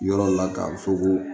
Yɔrɔ la k'a fɔ ko